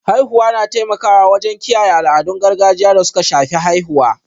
Haihuwa na taimakawa wajen kiyaye al'adun gargajiya da suka shafi haihuwa.